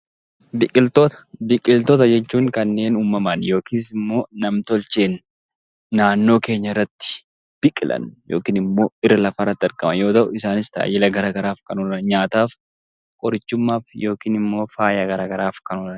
Biqiltoota Biqiltoota jechuun kanneen uumamaan yookiis nam-tolcheen naannoo keenyatti biqilan yookaan immoo irra lafaa irratti argaman. Isaanis tajaajila addaa addaaf kan oolan qorichumaaf yookaan immoo faaya garaagaraatiif